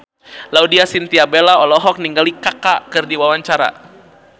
Laudya Chintya Bella olohok ningali Kaka keur diwawancara